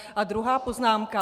A druhá poznámka.